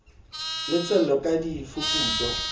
le tswello di ka fuputswa